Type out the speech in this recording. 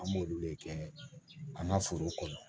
An b'olu le kɛ an ka foro kɔnɔ